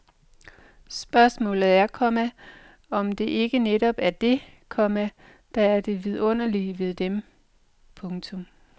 Spørgsmålet er, komma om det ikke netop er det, komma der er det vidunderlige ved dem. punktum